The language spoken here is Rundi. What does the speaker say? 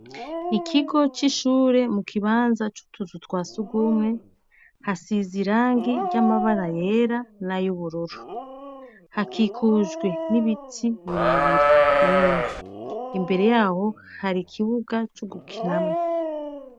Ikigo c'ishure mu kibanza c'utuzu twa surwumwe hasize irangi ry'amabara yera n'ay'ubururu. Hakikujwe n'ibiti birebire binini. Imbere yaho hari ikibuga co gukinamwo.